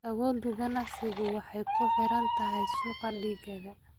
Awoodda ganacsigu waxay ku xiran tahay suuqa digaaga.